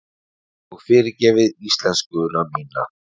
Og fyrirgefið íslenskuna mína.